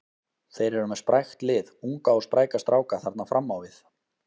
Þeir eru með sprækt lið, unga og spræka stráka þarna fram á við.